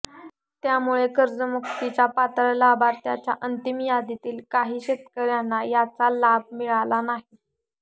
त्यामुळे कर्जमुक्तीच्या पात्र लाभार्थ्यांच्या अंतिम यादीतील काही शेतकऱ्यांना याचा लाभ मिळाला नाही